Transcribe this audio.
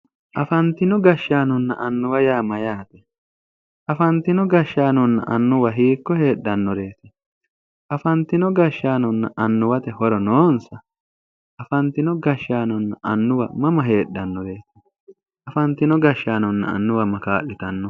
afantino gashshaanonna annwa yaa mayyate? afantino gashshsanonna annuwi hiikko heedhannoreeti? afantino gashshannoranna annuwara horo noonsa? afantino gashshaanonna annuwa mama heedhannoreeti? afantino gaashshaanonna annuwa ma kaa'litanno?